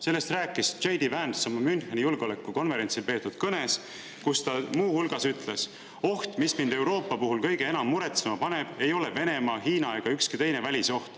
Sellest rääkis J. D. Vance oma kõnes Müncheni julgeolekukonverentsil, kus ta muu hulgas ütles: "Oht, mis mind Euroopa puhul kõige enam muretsema paneb, ei ole Venemaa, Hiina ega ükski teine välisoht.